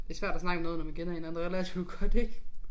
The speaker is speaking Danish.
Det svært at snakke om noget når man kender hinanden relativt godt ik